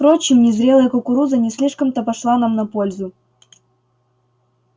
впрочем незрелая кукуруза не слишком-то пошла нам на пользу